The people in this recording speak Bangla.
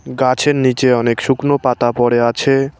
গাছের নীচে অনেক শুকনো পাতা পড়ে আছে।